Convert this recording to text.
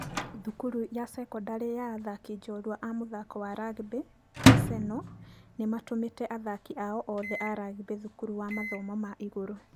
Thukuru ya sekondari ya athaki njorua a mũthako wa rugby maseno nĩmatũmĩte athaki ao othe a rugby thukuru ya mathomo ma igũrũ.